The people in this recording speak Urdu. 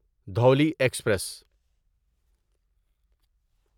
دھولی ایکسپریس